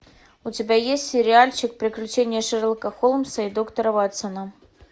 у тебя есть сериальчик приключения шерлока холмса и доктора ватсона